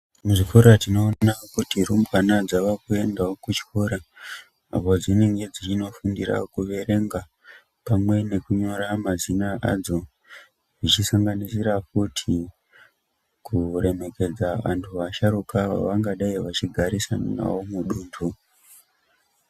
Muzvikora tinoona kuti rumbwana dzavakuendawo kuzvikora apo dzinenge dzichinofundira kuerenga pamwe nekunyora mazina adzo, zvichisanganisira kuti kuremekedza antu asharukwa vavangadai achigarisana nawo mudunhtu.